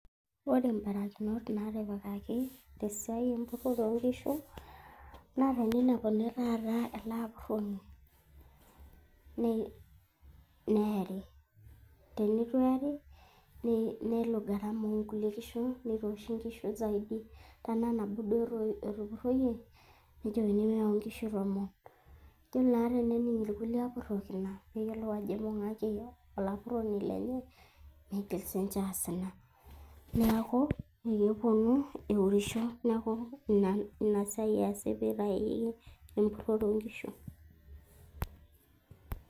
ore imbarakinot naatipikaki te siai empurore oo nkishu, naa teninepuni taata ele apuroni, neeri. teneitu eeri nelo gharama oonkulie kishu, nitooshi inkishu zaidi. tenaa nabo duo etupuroyie, nejokini meyau inkishu tomon. ejo naa tenening' irkulie apurok ina, neyiolou ajo eibung'aki olapuroni lenye meigil sii ninche aas ina. niaku kepuonu eurisho, neeku ina siai easi pee eitayuni empurore oonkishu.